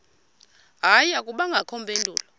hayi akubangakho mpendulo